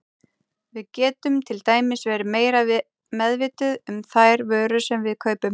Við getum til dæmis verið meira meðvituð um þær vörur sem við kaupum.